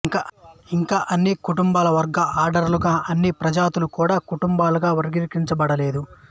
ఇంకా అన్ని కుటుంబాలు వర్గాలు ఆర్డర్లు గా అన్ని ప్రజాతులు కూడా కుటుంబాలుగా వర్గీకరించబడలేదు